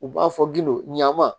U b'a fɔ gindo ɲaman